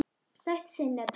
Sætt sinnep